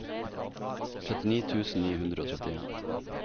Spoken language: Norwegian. trettini tusen ni hundre og trettien